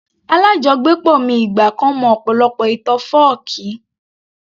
Alájọgbépọ̀ mi ìgbà kan mọ ọ̀pọ̀lọpọ̀ ìtàn fọ́ọ̀kí